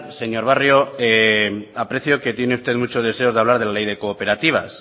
señor barrio aprecio que tiene usted mucho deseo de hablar de la ley de cooperativas